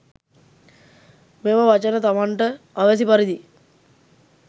මෙම වචන තමන්ට අවැසි පරිදි